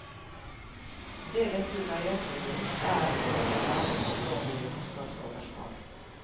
Det dette dreier seg om, er om vi lager for dårlige kostnadsoverslag.